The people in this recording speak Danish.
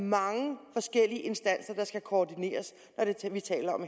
mange forskellige instanser der skal koordineres når vi taler om